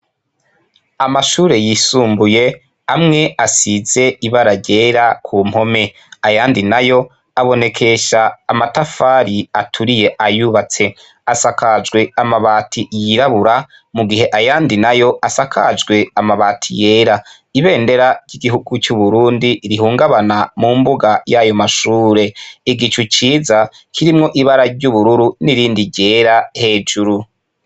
Amashure yisumbuye amwe asize ibara ryera ku mpome, ayandi nayo abonekesha amatafari aturiye ayubatse, asakajwe amabati yirabura mu gihe ayandi nayo asakajwe amabati yera, ibendera ry'igihugu c'Uburundi rihungabana mu mbuga yayo mashure, igicu ciza kirimwo ibara ry'ubururu n'irindi ryera hejuru.